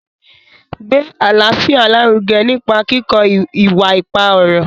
Gbé àlàáfíà lárugẹ nípa kíkọ ìwà ipá ọ̀rọ̀.